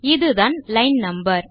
இதுதான் line no